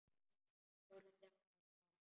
Og þá hrundi hann bara.